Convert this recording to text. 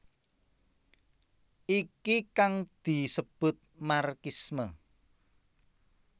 Iki kang disebut marxisme